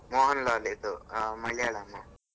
ಮೋಹನಲಾಲ್ ದು ಮಲಿಯಾಳಮ್,